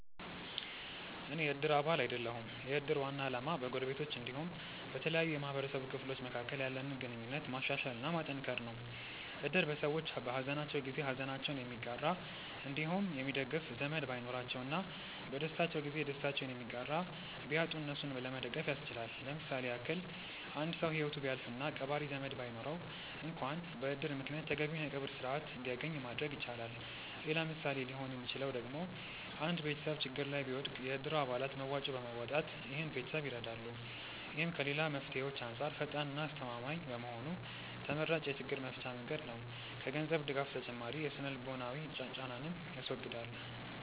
አኔ የ እድር አባል አይደለሁም። የ እድር ዋና አላማ በ ጎረቤቶች አንዲሁም በተለያዩ የ ማህበረሰቡ ክፍሎች መካከል ያለንን ግንኙነት ማሻሻል እና ማጠንከር ነው። እድር ሰዎች በ ሃዘናቸው ጊዜ ሃዘናቸውን የሚጋራ አንዲሁም የሚደግፍ ዘመድ ባይኖራቸው እና በ ደስታቸው ጊዜ ደስታቸውን የሚጋራ ቢያጡ እነሱን ለመደገፍ ያስችላል። ለምሳሌ ያክል አንድ ሰው ሂወቱ ቢያልፍ እና ቀባሪ ዘመድ ባይኖረው አንክዋን በ እድር ምክንያት ተገቢውን የ ቀብር ስርዓት አንድያገኝ ማድረግ ይቻላል። ሌላ ምሳሌ ሊሆን ሚችለው ደግሞ አንድ ቤተሰብ ችግር ላይ ቢወድቅ የ እድሩ አባላት መዋጮ በማዋጣት ይህን ቤተሰብ ይረዳሉ። ይህም ከ ሌላ መፍትሄዎች አንጻር ፈጣን እና አስተማማኝ በመሆኑ ተመራጭ የ ችግር መፍቻ መንገድ ነው። ከ ገንዘብ ድጋፍ ተጨማሪ የ ስነ-ልቦናዊ ጫናንንም ያስወግዳል።